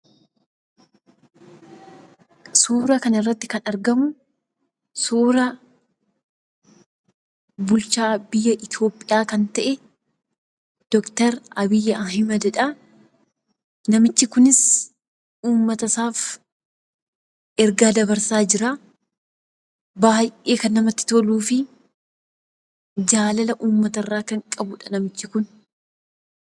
Suura kanarratti kan argamu, suura bulchaa biyya Itoophiyaa kan ta'e, Dooktar Abiy Ahmedidha. Namichi kunis uummata isaaf ergaa dabarsaa jira. Baay'ee kan namatti toluu fi jaalala uummata irraa kan qabudha.